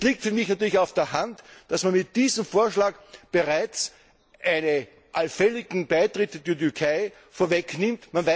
Es liegt für mich natürlich auf der Hand, dass man mit diesem Vorschlag bereits einen allfälligen Beitritt der Türkei vorwegnimmt.